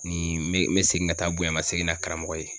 Nin n me n me segin ka taa bon yan ma segin na karamɔgɔ ye